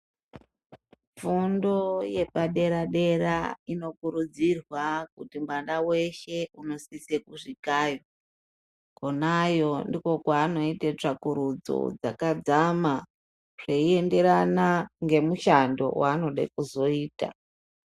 Funfo yepadera dera inokurudzirwa Kuti mwana weshe unosise kusvikayo kwonayo ndikwo kwaanoite tsvakurudzo yakadzama zveienderana ngemushando waanode kuzoita.